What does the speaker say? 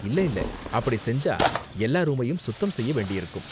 இல்ல இல்ல, அப்படி செஞ்சா எல்லா ரூமையும் சுத்தம் செய்ய வேண்டியிருக்கும்!